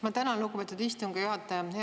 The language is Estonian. Ma tänan, lugupeetud istungi juhataja!